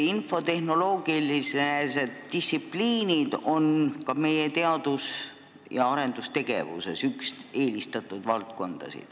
Infotehnoloogilised distsipliinid on ka meie teadus- ja arendustegevuses üks eelistatud valdkondi.